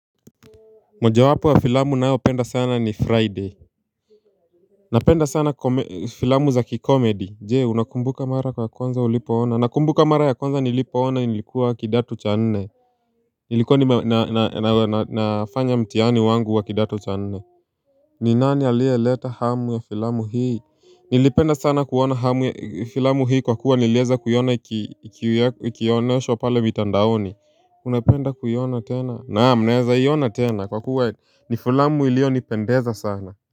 Moja wapo wa filamu naopenda sana ni friday. Napenda sana filamu za kikomedy. Jee unakumbuka mara kwa konza ulipo ona. Nakumbuka mara ya kwanza nilipo ona nilikuwa kidato cha nne. Nilikuwa ni na na na na na nafanya mtiani wangu wa kidato cha nne. Ni nani alie leta hamu ya filamu hii. Nilipenda sana kuona hamu ya filamu hii kwa kuwa nilieza kuiona ikioneshwa pale mitandaoni. Unapenda kuyona tena naam naeza hiyona tena kwa kuwa ni fulamu ilio nipendeza sana.